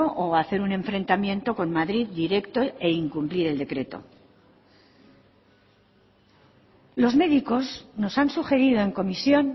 o hacer un enfrentamiento con madrid directo e incumplir el decreto los médicos nos han sugerido en comisión